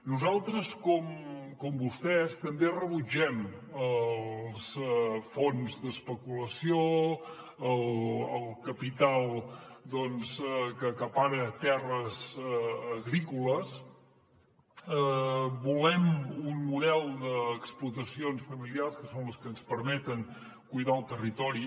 nosaltres com vostès també rebutgem els fons d’especulació el capital doncs que acapara terres agrícoles volem un model d’explotacions familiars que són les que ens permeten cuidar el territori